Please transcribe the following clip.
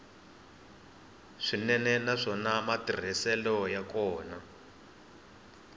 swinene naswona matirhiselo ya kona